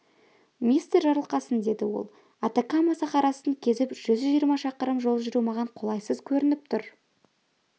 мистер жарылқасын деді ол атакама сахарасын кезіп жүз жиырма шақырым жол жүру маған қолайсыз көрініп тұр